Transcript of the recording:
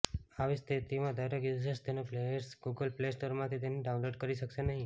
આવી સ્થિતિમાં દરેક યૂઝર્સ તેને પ્લેયર્સ ગૂગલ પ્લે સ્ટોરમાંથી તેને ડાઉનલોડ કરી શકશે નહીં